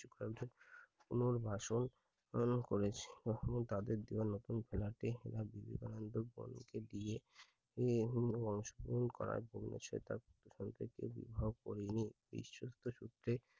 পুনর্বাসন উম করেছিল তাদের দেয়া নতুন দিয়ে অংশ গ্রহণ করে জন্য সে তা বিবাহ করেনি বিশ্বস্ত সূত্রে কিছুসংখক